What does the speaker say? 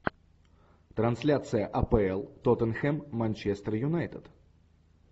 трансляция апл тоттенхэм манчестер юнайтед